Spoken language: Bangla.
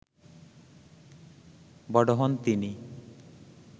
বড় হন তিনি